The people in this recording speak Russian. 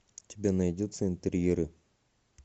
у тебя найдется интерьеры